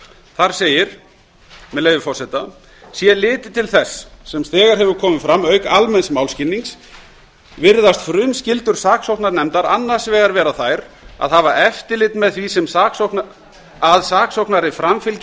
þar segir með leyfi forseta sé litið til þess sem þegar hefur komið fram auk almenns málskilnings virðast frumskyldur saksóknarnefndar annars vegar vera þær að hafa eftirlit með því að saksóknari framfylgi